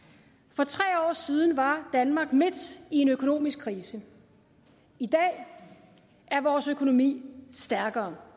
for tre år siden var danmark midt i en økonomisk krise i dag er vores økonomi stærkere